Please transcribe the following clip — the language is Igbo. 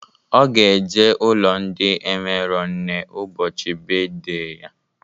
Ọ ga-eje ụlọ ndị enwero nne ụbọchị beedey ya